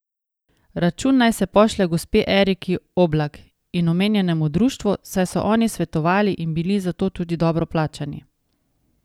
Račun naj se pošlje gospe Eriki Oblak in omenjenemu društvu, saj so oni svetovali in bili za to tudi dobro plačani.